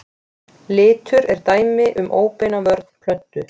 Litur er dæmi um óbeina vörn plöntu.